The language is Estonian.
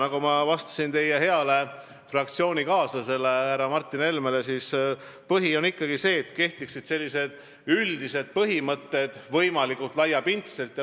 Nagu ma vastasin teie heale fraktsioonikaaslasele härra Martin Helmele, põhiline on ikkagi see, et võimalikult laiapindselt kehtiksid üldised põhimõtted.